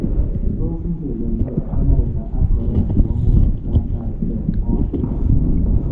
Tos ng'alaldos Amerika ak Korea nebo Murokatam eng or ne?